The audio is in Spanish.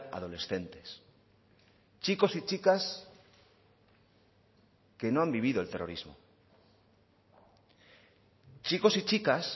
adolescentes chicos y chicas que no han vivido el terrorismo chicos y chicas